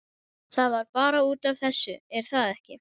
Það var bara út af þessu, er það ekki?